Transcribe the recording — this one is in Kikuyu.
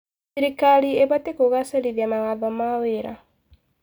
Thirikari ĩbatiĩ kũgacĩrithia mawatho ma wĩra.